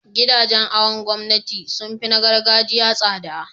gidajen awon gomnati sunfi na Yan gargajiya tsada